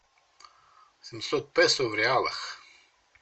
семьсот песо в реалах